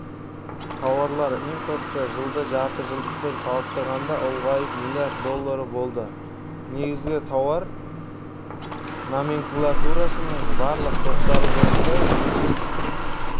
тауарлар импорты жылғы жартыжылдықпен салыстырғанда ұлғайып млрд доллары болды негізгі тауар номенклатурасының барлық топтары бойынша өсім